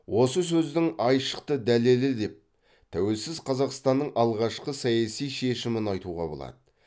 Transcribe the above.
осы сөздің айшықты дәлелі деп тәуелсіз қазақстанның алғашқы саяси шешімін айтуға болады